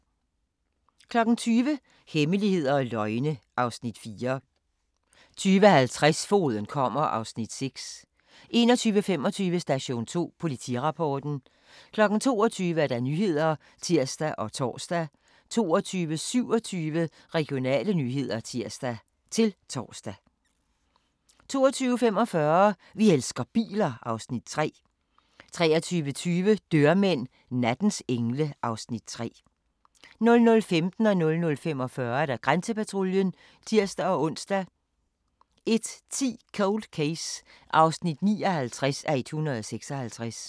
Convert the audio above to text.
20:00: Hemmeligheder og løgne (Afs. 4) 20:50: Fogeden kommer (Afs. 6) 21:25: Station 2: Politirapporten 22:00: Nyhederne (tir og tor) 22:27: Regionale nyheder (tir-tor) 22:45: Vi elsker biler (Afs. 3) 23:20: Dørmænd – nattens engle (Afs. 3) 00:15: Grænsepatruljen (tir-ons) 00:45: Grænsepatruljen (tir-ons) 01:10: Cold Case (59:156)